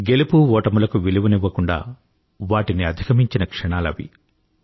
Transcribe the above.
గెలుపు ఓటములకు విలువనివ్వకుండా వాటిని అధిగమించిన క్షణాలు అవి